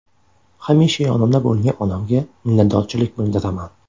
Hamisha yonimda bo‘lgan onamga minnatdorchilik bildiraman.